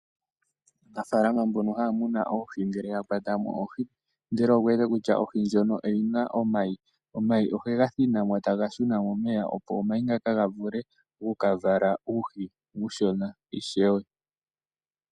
Aanafalama mboka haya muna oohi ngele yakwatamo oohi ndele okuwete kutya ohi ndjono oyina omayi , omayi ohega thinimo tega shuna momeya opo gavule okuka vala oohi ooshona natango.